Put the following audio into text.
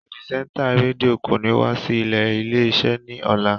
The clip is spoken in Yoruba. Pirisenta redio ko ni wa si ile ile-ise ni ọla.